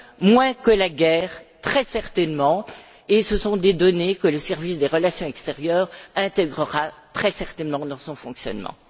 Moins que la guerre, très certainement, et ce sont des données que le service des relations extérieures intégrera très certainement dans son fonctionnement.